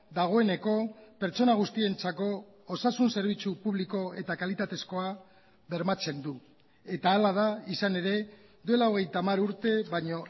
dagoeneko pertsona guztientzako osasun zerbitzu publiko eta kalitatezkoa bermatzen du eta hala da izan ere duela hogeita hamar urte baino